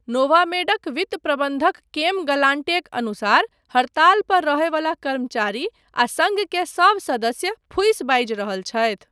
नोवामेडक वित्त प्रबन्धक केम ग्लान्टेक अनुसार हड़ताल पर रहयवला कर्मचारी आ सङ्घ के सब सदस्य फूसि बाजि रहल छथि।